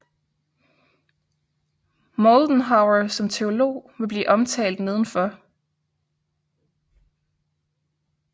Moldenhawer som teolog vil blive omtalt nedenfor